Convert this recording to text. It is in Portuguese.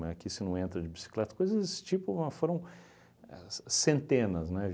Mas aqui você não entra de bicicleta, coisas tipo, foram é c centenas, né?